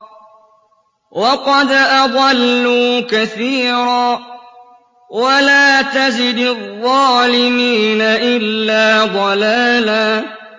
وَقَدْ أَضَلُّوا كَثِيرًا ۖ وَلَا تَزِدِ الظَّالِمِينَ إِلَّا ضَلَالًا